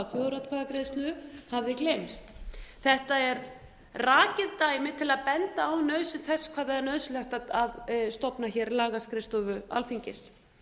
hafa þjóðaratkvæðagreiðslu hafði gleymst þetta er rakið dæmi til að benda á nauðsyn þess hvað það er nauðsynlegt að stofna hér lagaskrifstofu alþingis